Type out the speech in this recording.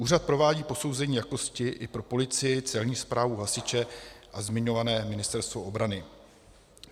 Úřad provádí posouzení jakosti i pro policii, Celní správu, hasiče a zmiňované Ministerstvo obrany.